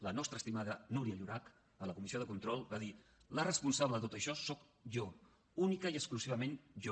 la nostra estimada núria llorach a la comissió de control va dir la responsable de tot això soc jo únicament i exclusivament jo